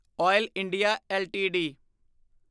oil India LTD